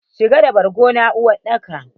shigar da borgon nan uwar daka!